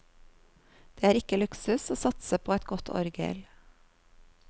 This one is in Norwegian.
Det er ikke luksus å satse på et godt orgel.